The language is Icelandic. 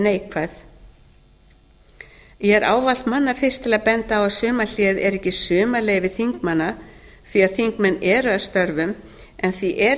neikvæð ég er ávallt manna fyrst til að benda á að sumarhléið er ekki sumarleyfi þingmanna því að þingmenn eru að störfum en því er